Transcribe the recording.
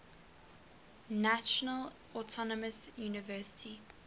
national autonomous university